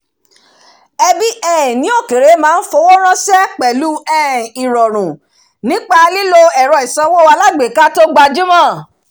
ẹbí um ní òkèèrè má ń fowóránṣẹ́ pẹ̀lú um ìrọ̀rùn nípa lílo ẹ̀rọ ìsanwó alágbèéká tó gbajúmọ̀